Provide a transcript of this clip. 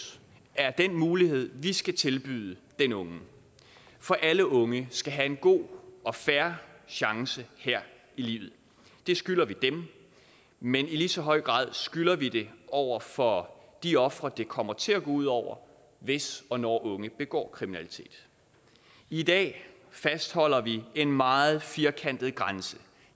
er den mulighed vi skal tilbyde den unge for alle unge skal have en god og fair chance her i livet det skylder vi dem men i lige så høj grad skylder vi det over for de ofre det kommer til at gå ud over hvis og når unge begår kriminalitet i dag fastholder vi en meget firkantet grænse